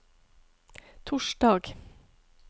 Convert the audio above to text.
torsdag